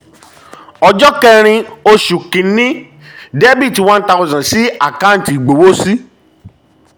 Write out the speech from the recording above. ọjọ́ ọjọ́ kẹ́rin oṣù kìíní: dr 1000 sí àkáǹtì ìgbowósí